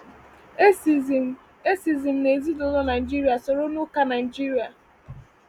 E si m E si m n’ezinụlọ Nigeria, soro n’Ụka Nigeria.